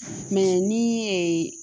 ni